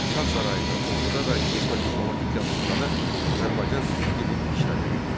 Şah sarayında, orduda və qismən diplomatik yazışmada Azərbaycan Türk dili işlədilirdi.